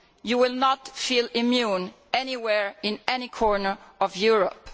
They will not feel immune anywhere, in any corner of Europe.